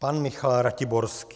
Pan Michal Ratiborský.